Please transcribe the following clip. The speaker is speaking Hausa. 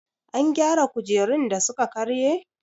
An gyara kujerun da suka karye?